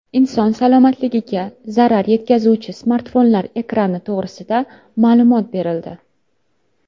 Inson salomatligiga zarar yetkazuvchi smartfonlar ekrani to‘g‘risida ma’lumot berildi.